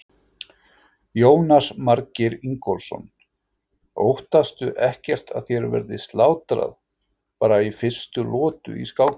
Jónas Margeir Ingólfsson: Óttastu ekkert að þér verði slátrað bara í fyrstu lotu í skákinni?